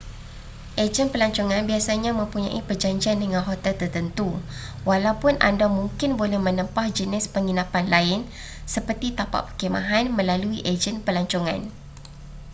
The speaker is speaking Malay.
ejen pelancongan biasanya mempunyai perjanjian dengan hotel tertentu walaupun anda mungkin boleh menempah jenis penginapan lain seperti tapak perkhemahan melalui ejen pelancongan